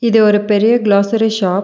இது ஒரு பெரிய கிளோசரி ஷாப் .